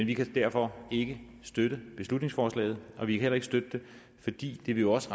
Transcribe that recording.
vi kan derfor ikke støtte beslutningsforslaget vi kan heller ikke støtte det fordi det jo også